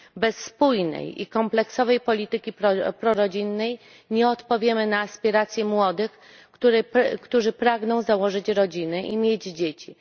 Bez spójnej i kompleksowej polityki prorodzinnej nie odpowiemy na aspiracje młodych, którzy pragną założyć rodzinę i mieć dzieci.